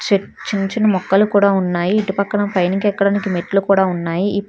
Check చిన్న చిన్న మొక్కలు కూడా ఉన్నాయి ఇటుపక్కన పైనికి ఎక్కడానికి మెట్లు కూడా ఉన్నాయి.